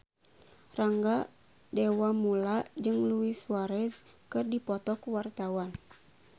Rangga Dewamoela jeung Luis Suarez keur dipoto ku wartawan